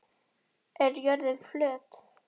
Er jörðin flöt?